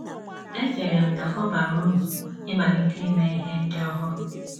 Echere m na ọ bara uru ịmalite ime ihe ndị ọhụrụ. ”